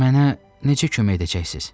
Mənə necə kömək edəcəksiz?